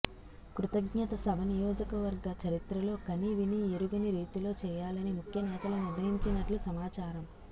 కృతజ్ఞత సభ నియోజకవర్గ చరిత్రలో కనివిని ఎరుగని రీతిలో చేయాలని ముఖ్యనేతలు నిర్ణయించినట్లు సమాచారం